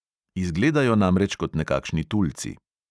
Izgledajo namreč kot nekakšni tulci.